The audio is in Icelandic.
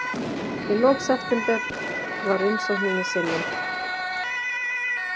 Í lok september var umsókninni synjað